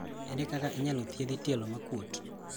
Ere kaka inyalo thiedhi tielo maokuot?